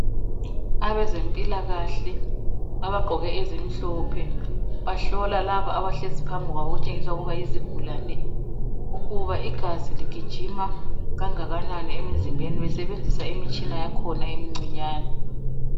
Abezempilakahle abagqoke ezimhlophe bahlola labo abahlezi phambi kwabo okutshengisa ukuba yizigulane ukuba igazi ligijima okungakanani emzimbeni besebenzisa imitshina yakhona emincinyani.